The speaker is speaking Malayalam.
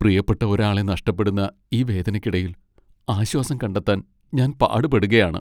പ്രിയപ്പെട്ട ഒരാളെ നഷ്ടപ്പെടുന്ന ഈ വേദനയ്ക്കിടയിൽ ആശ്വാസം കണ്ടെത്താൻ ഞാൻ പാടുപെടുകയാണ്.